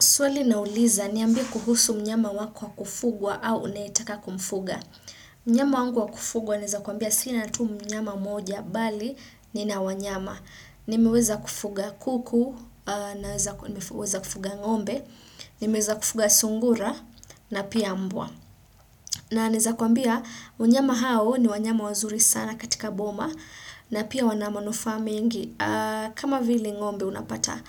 Swali na uliza niambie kuhusu mnyama wako wa kufugwa au unayetaka kumfuga. Mnyama wangu wa kufugwa naeza kuambia sina tu mnyama mmoja bali ni na wanyama. Nimeweza kufuga kuku, nimeweza kufuga ngombe, nimeweza kufuga sungura na pia mbwa. Na naeza kuambia wanyama hao ni wanyama wazuri sana katika boma na pia wana manufaa mengi. Kama vile ngombe unapata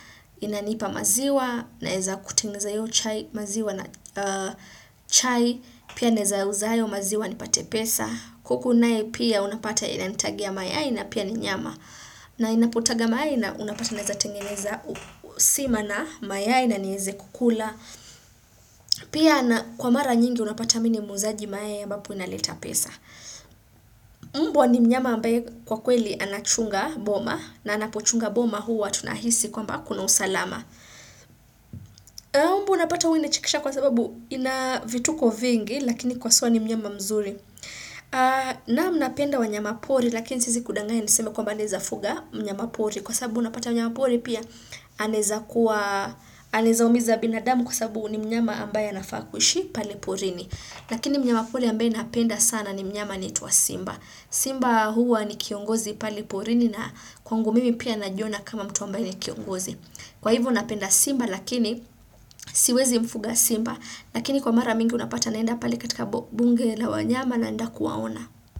inanipa maziwa naeza kutengeneza hio chai maziwa na chai pia naeza uza hayo maziwa nipate pesa. Kuku naye pia unapata inanitagia mayai na pia ni nyama. Na inapotaga mayai na unapata naeza tengeneza sima na mayai na nieze kukula. Pia kwa mara nyingi unapata mini muuzaji mayai ambapo inaleta pesa. Mbwa ni mnyama ambaye kwa kweli anachunga boma na anapochunga boma huwa tunahisi kwamba kuna usalama Mbwa unapata hua inechekesha kwa sababu ina vituko vingi Lakini kwa suwa ni mnyama mzuri Naam napenda wanyama pori lakini siezi kudanganya niseme kwamba naezafuga Mnyama pori kwa sababu unapata wanyama pori pia anaeza kuwa Aneza umiza binadamu kwa sababu ni mnyama ambaye anafaa kuishi pale porini Lakini mnyama pori ambaye napenda sana ni mnyama anaitwa simba Simba huwa ni kiongozi pale porini na kwangu mimi pia najiona kama mtu ambaye ni kiongozi Kwa hivo napenda simba lakini siwezi mfuga simba Lakini kwa mara mingi unapata naenda pali katika bunge la wanyama naenda kuwaona.